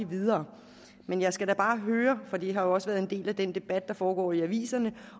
videre men jeg skal da bare høre for det har jo også været en del af den debat der foregår i aviserne